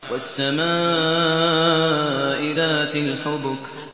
وَالسَّمَاءِ ذَاتِ الْحُبُكِ